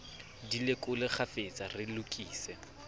di lekole kgafetsa re lokise